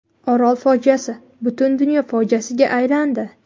Orol fojiasi butun dunyo fojiasiga aylandi.